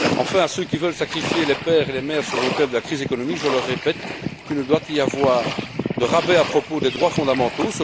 Enfin, à ceux qui veulent sacrifier les pères et les mères sur l'autel de la crise économique, je le répète, il ne doit pas y avoir de rabais à propos des droits fondamentaux.